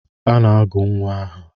A na-agụ nnwa aha.